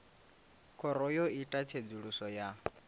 khoro yo ita tsedzuluso ya